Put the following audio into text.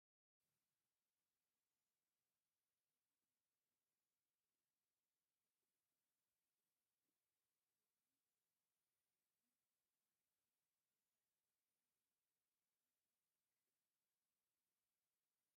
ክፉት ናይ ቅዱስ ጊዮርጊስ ቢራን ብጽማቝ ፍረታት ዝተመልአ ብርጭቆን ይርአ። ውዑይን ጸሓያዊን መዓልቲ ዘበራብር ኮይኑ ናይ ምዝንጋዕ ስምዒት ዘምጽእ እዩ።